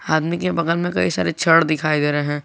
आदमी के बगल में कई सारे छड़ दिखाई दे रहे हैं।